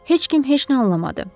Heç kim heç nə anlamadı.